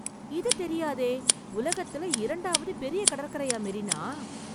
இது தெரியாதே ! உலகத்துல இரண்டாவது பெரிய கடற்கரையா, மெரினா ?